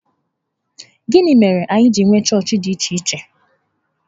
Gịnị mere anyị ji nwee chọọchị dị iche iche?